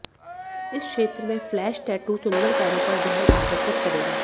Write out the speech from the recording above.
इस क्षेत्र में फ्लैश टैटू सुंदर पैरों पर ध्यान आकर्षित करेगा